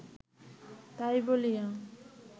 তাই বলিয়া